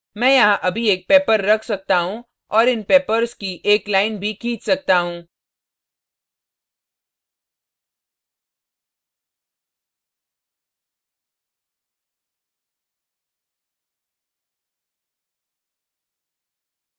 मैं यहाँ अभी एक pepper pepper रख सकता हूँ और इन peppers peppers की एक line भी खींच सकता हूँ